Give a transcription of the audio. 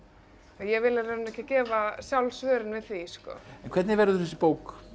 ég vil í rauninni ekki gefa sjálf svörin við því sko en hvernig verður þessi bók